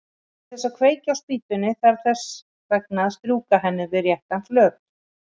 Til að kveikja á spýtunni þarf þess vegna að strjúka henni við réttan flöt.